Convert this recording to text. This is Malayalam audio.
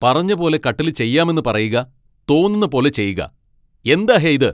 പറഞ്ഞ പോലെ കട്ടില് ചെയ്യാമെന്ന് പറയുക. തോന്നുന്ന പോലെ ചെയ്യുക. എന്താ ഹേ ഇത്?